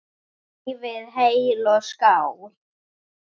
Lifið heil og skál!